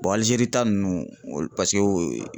Aligeri ta nunnu olu paseke